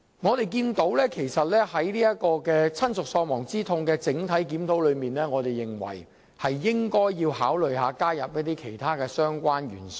我們認為，當局在就親屬喪亡之痛賠償款額進行全面檢討時，應考慮其他相關因素。